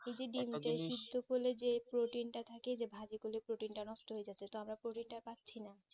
সিদ্দ করলে যে প্রোটিন তা থাকে যে ভাজি করলে প্রোটিন তা নষ্ট যেত তা আমরা প্রোটিন তা পাচ্ছি না